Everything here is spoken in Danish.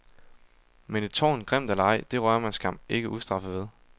Men et tårn, grimt eller ej, det rører man skam ikke ustraffet ved.